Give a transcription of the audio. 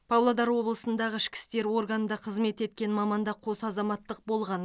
павлодар облысындағы ішкі істер органында қызмет еткен маманда қос азаматтық болған